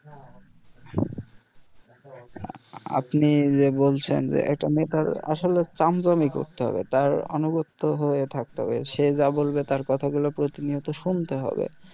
আপনি যে বলছেন যে একটা নেতার আসলে চামচামি করতে হবে তার আনুগত্য হয়ে থাকতে হবে সে যা বলবে তার কথা গুলো প্রতিনিয়ত শুনতে হবে